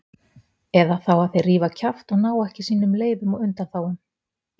Eða þá að þeir rífa kjaft og ná ekki sínum leyfum og undanþágum.